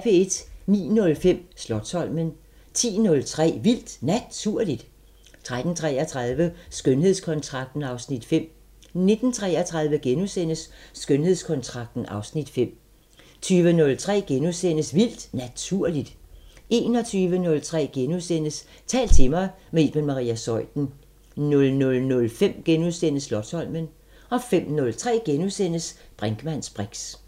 09:05: Slotsholmen 10:03: Vildt Naturligt 13:33: Skønhedskontrakten (Afs. 5) 19:33: Skønhedskontrakten (Afs. 5)* 20:03: Vildt Naturligt * 21:03: Tal til mig – med Iben Maria Zeuthen * 00:05: Slotsholmen * 05:03: Brinkmanns briks *